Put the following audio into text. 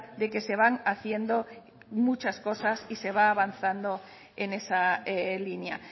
de que se van haciendo muchas cosas y se va avanzando en esa línea